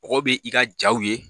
Mɔgɔ bɛ i ka jaw ye